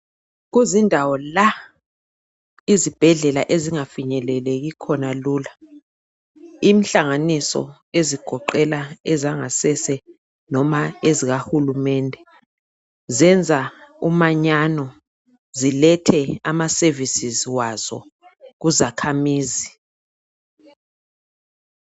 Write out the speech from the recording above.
Kuzindawo la izibhedlela ezingafinyeleleki khona lula. Inhlanganiso ezigoqela ezangasese noma ezikahulumende zenza umanyano zilethe ama services wazo kuzakhamizi.